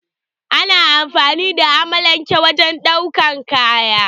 Ana amfani da amalanke wajen ɗaukan kaya.